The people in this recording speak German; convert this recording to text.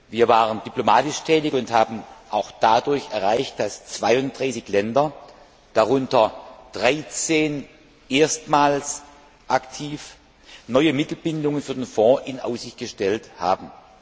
Wir waren diplomatisch tätig und haben auch dadurch erreicht, dass 32 Länder, darunter 13 erstmals aktiv, neue Mittelbindungen für den Fonds in Aussicht gestellt haben.